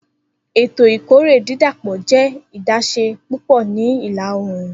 Eto ikore didapọ jẹ adaṣe pupọ ni ila-oorun.